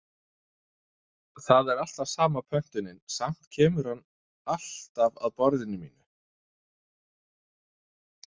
Það er alltaf sama pöntunin, samt kemur hann hann alltaf að borðinu mínu.